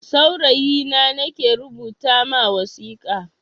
Saurayi na nake rubuta ma wasika.